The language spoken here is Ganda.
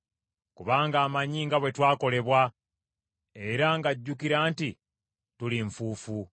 Kubanga amanyi nga bwe twakolebwa era ng’ajjukira nti tuli nfuufu.